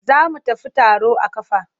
Za mu tafi taro a ƙafa.